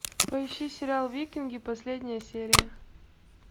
поищи сериал викинги последняя серия